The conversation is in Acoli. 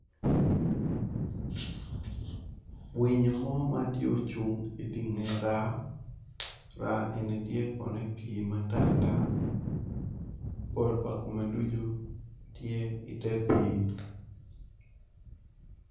Winyo mo matye ocung idye nge raa, raa eni tye kono i pii matar tar pol pa kome ducu tye ite pii.